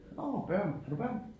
Nåh børn har du børn?